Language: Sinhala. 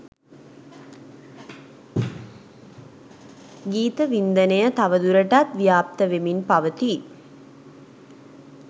ගීත වින්දනය තව දුරටත් ව්‍යාප්ත වෙමින් පවතී